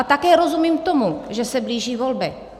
A také rozumím tomu, že se blíží volby.